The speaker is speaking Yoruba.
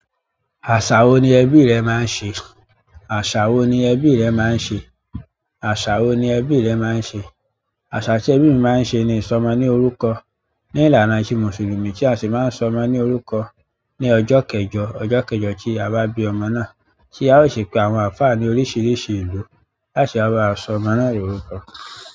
Àṣà wo ni ẹbí rẹ máa ń ṣe? Àṣà wo ni ẹbí rẹ máa ń ṣe? Àṣà wo ni ẹbí rẹ máa ń ṣe? Àṣà tí ẹbí mi máa ń ṣe ni ìsọmọ ní orúkọ. Ni ìlànà tí Mùsùlùmí, tí a ṣe máa ń sọ ọmọ ní orúkọ. Ní ọjọ́ kẹjọ—ọjọ́ kẹjọ tí a bá bí ọmọ náà, tí a ó sì pe àwọn àlùfáà ní oríṣiríṣi ìlú, láti wá bá wa sọ ọmọ náà lórúkọ.